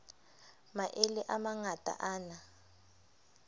maele a mangata a na